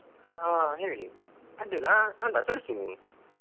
ಹಾ ಹೇಳಿ ಅಡ್ಡಿಲ್ಲ ಆ ಅಲ್ಲ ಕಳ್ಸಿ ನೀವು.